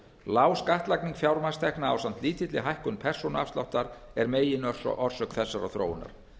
lág skattlagning fjármagnstekna ásamt lítilli hækkun persónuafsláttar er meginorsök þessarar þróunar